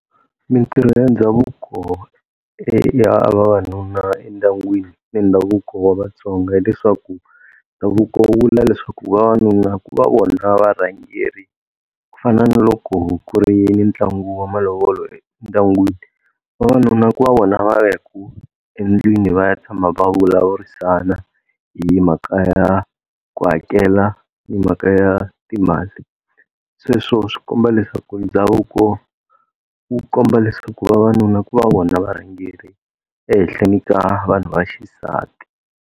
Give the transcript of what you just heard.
Mintirho ya ndhavuko e ya vavanuna endyangwini ni ndhavuko wa Vatsonga, hileswaku ndhavuko wu vula leswaku vavanuna ku va vona varhangeri, ku fana na loko ku ri ni ntlangu wa malovolo endyangwini vavanuna ku va vona va ya ka endlwini va ya tshama va vulavurisana hi mhaka ya ku hakela ni mhaka ya timali. Sweswo swikomba leswaku ndhavuko wu komba leswaku vavanuna ku va vona varhangeri ehehleni ka vanhu va xisati.